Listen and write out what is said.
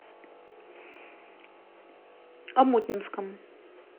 омутнинском